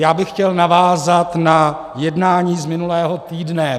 Já bych chtěl navázat na jednání z minulého týdne.